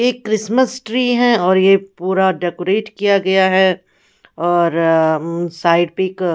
एक Christmas tree है और ये पूरा डेकोरेट किया गया है और साइड पे एक --